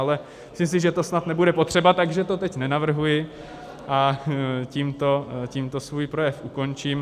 Ale myslím si, že to snad nebude potřeba, takže to teď nenavrhuji a tímto svůj projev ukončím.